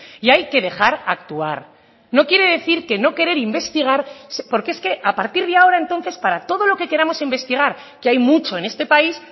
y hay que dejar actuar no quiere decir que no querer investigar porque es que a partir de ahora entonces para todo lo que queramos investigar que hay mucho en este país